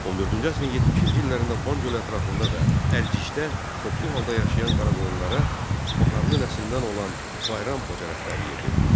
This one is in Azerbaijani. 14-cü əsrin 70-ci illərində Van gölü ətrafında və Ərcişdə toplu halda yaşayan Qaraqoyunlara Baharlı nəslindən olan Bayram Xoca rəhbərlik edirdi.